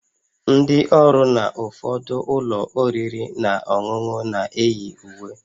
Ndị ọrụ na ụfọdụ ụlọ oriri na ọṅụṅụ na-eyi uwe